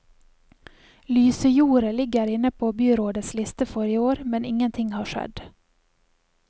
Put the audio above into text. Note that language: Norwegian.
Lysejordet ligger inne på byrådets liste for i år, men ingenting har skjedd.